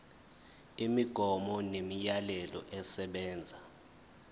imigomo nemiyalelo esebenza